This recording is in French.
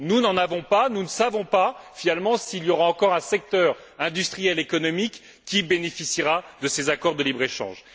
Nous n'en avons pas, nous ne savons pas, finalement, s'il y aura encore un secteur industriel ou économique qui bénéficiera de ces accords de libre échange.